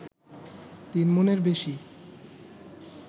তিন মণের বেশি